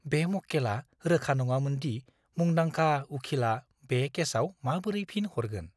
बे मक्केलआ रोखा नङामोन दि मुंदांखा उखिलआ बे केसाव माबोरै फिन हरगोन।